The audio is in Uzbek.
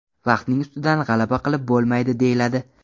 Vaqtning ustidan g‘alaba qilib bo‘lmaydi deyiladi.